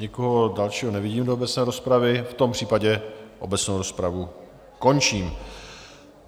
Nikoho dalšího nevidím do obecné rozpravy, v tom případě obecnou rozpravu končím.